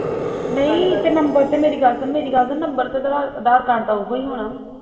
ਨਹੀਂ ਤੇ ਨਬਰ ਤੇ ਮੇਰੀ ਗੱਲ ਸੁਣ ਮੇਰੀ ਗੱਲ ਸੁਣ ਨਬਰ ਤੇ ਅਧਾਰ ਕਾਰਡ ਦਾ ਓਹੀ ਹੋਣਾ ਵਾ